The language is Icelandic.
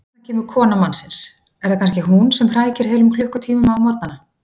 Þarna kemur kona mannsins, er það kannski hún sem hrækir heilum klukkutíma á morgnana?